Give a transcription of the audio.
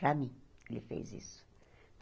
Para mim, ele fez isso.